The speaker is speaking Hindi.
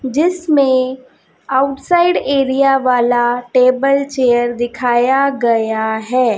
जिसमें आउटसाइड एरिया वाला टेबल चेयर दिखाया गया है।